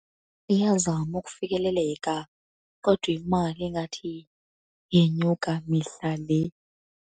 Iyazama ukufikeleleka kodwa imali ingathi yenyuka mihla le.